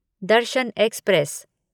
Darshan express